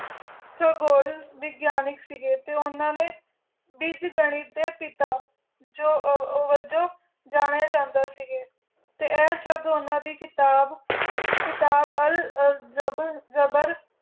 ਜੋ ਗੋਲਾਂ ਵਿਡੀਨਕ ਸੇ ਗੇ ਟੀ ਓਨਾ ਦੇ ਵਿਤ ਗਾਨੀ ਦੇ ਪਿਤਾ ਜੋ ਜੋ ਜਾਨਯ ਜਾਂਦੇ ਸੇ ਗੇ ਟੀ ਸ਼ਬ ਓਨਾ ਦੀ ਕਿਤਾਬ ਕਿਤਾਬ ਅਲ ਅਲ ਜਬਰ ਜਬਰ ਦੇ